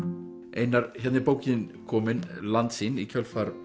einar hérna er bókin komin Landsýn í kjölfar